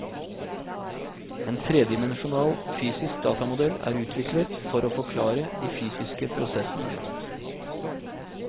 En tredimensjonal, fysisk datamodell er utviklet for å forklare de fysiske prosessene.